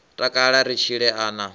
takala ri tshile a na